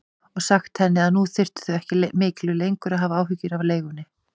Og sagt henni að nú þyrftu þau ekki miklu lengur að hafa áhyggjur af leigunni.